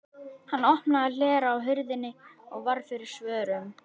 Hann opnaði hlera á hurðinni og varð fyrir svörum.